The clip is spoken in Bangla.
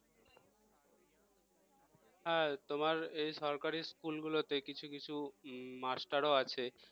হ্যাঁ তোমার এই সরকারি school গুলোতে কিছু কিছু মাস্টারও আছে